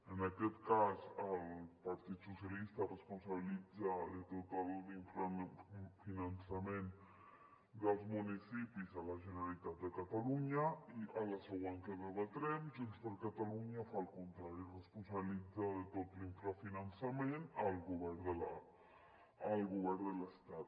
en aquest cas el partit socialista responsabilitza de tot l’infrafinançament dels municipis la generalitat de catalunya i a la següent que debatrem junts per catalunya fa el contrari responsabilitza de tot l’infrafinançament el govern de l’estat